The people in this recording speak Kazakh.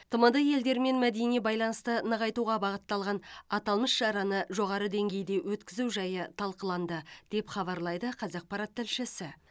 тмд елдерімен мәдени байланысты нығайтуға бағытталған аталмыш шараны жоғары деңгейде өткізу жайы талқыланды деп хабарлайды қазақпарат тілшісі